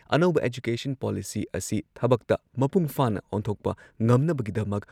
ꯑꯅꯧꯕ education policy ꯑꯁꯤ ꯊꯕꯛꯇ ꯃꯄꯨꯡꯐꯥꯅ ꯑꯣꯟꯊꯣꯛꯄ ꯉꯝꯅꯕꯒꯤꯗꯃꯛ